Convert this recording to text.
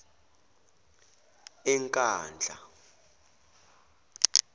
enkandla